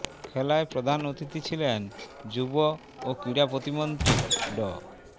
খেলায় প্রধান অতিথি ছিলেন যুব ও ক্রীড়া প্রতিমন্ত্রী ড